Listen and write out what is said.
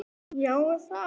En ástin krefst fórna!